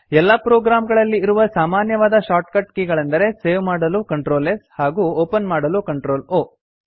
ಎಲ್ಲಾ ಪ್ರೊಗ್ರಾಮ್ ಗಳಲ್ಲಿ ಇರುವ ಸಾಮಾನ್ಯವಾದ shortcut ಕೆ ಗಳೆಂದರೆ ಸೇವ್ ಮಾಡಲು CtrlS ಹಾಗೂ ಓಪನ್ ಮಾಡಲು CtrlO